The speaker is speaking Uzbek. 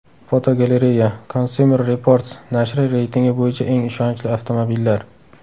Fotogalereya: Consumer Reports nashri reytingi bo‘yicha eng ishonchli avtomobillar.